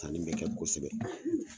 danni be kɛ kosɛbɛ